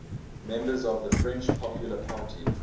members of the french popular party